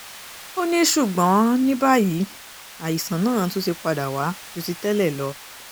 ó ní ṣùgbọ́n ní báyìí àìsàn náà tún ti padà wá ju ti tẹ́lẹ̀ lọ